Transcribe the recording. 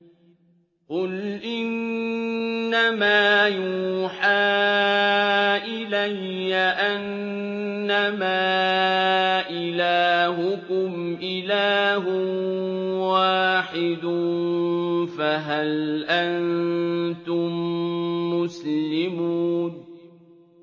قُلْ إِنَّمَا يُوحَىٰ إِلَيَّ أَنَّمَا إِلَٰهُكُمْ إِلَٰهٌ وَاحِدٌ ۖ فَهَلْ أَنتُم مُّسْلِمُونَ